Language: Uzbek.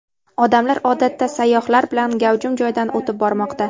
Odamlar odatda sayyohlar bilan gavjum joydan o‘tib bormoqda.